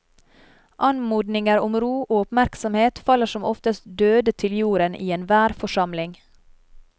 Anmodninger om ro og oppmerksomhet faller som oftest døde til jorden i enhver forsamling.